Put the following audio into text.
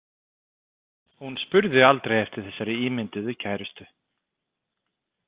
Hún spurði aldrei eftir þessari ímynduðu kærustu.